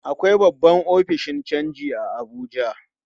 Akwai babban ofishin canji a Abuja.